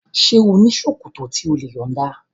Ṣé ò ní ṣòkòtò tí o lè yọ̀nda?